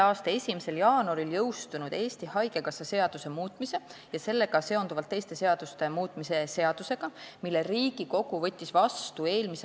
a 1. jaanuaril jõustunud Eesti Haigekassa seaduse muutmise ja sellega seonduvalt teiste seaduste muutmise seadusega, mille Riigikogu võttis vastu m.